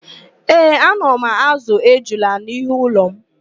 Ee, ana m ázụ̀ ejula n'ihu ụlọ m